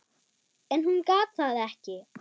En hún gat það ekki.